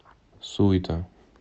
суйта